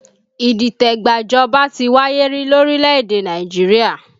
Idite gba ìjọba ti wáyé rí lórílẹ̀ èdè Nàìjíríà